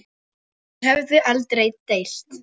Þau höfðu aldrei deilt.